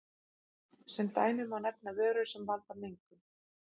Sem dæmi má nefna vörur sem valda mengun.